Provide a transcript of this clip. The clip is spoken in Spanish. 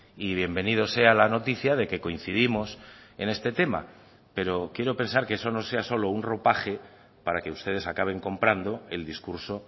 y bienvenido sea la noticia de que coincidimos en este tema pero quiero pensar que eso no sea solo un ropaje para que ustedes acaben comprando el discurso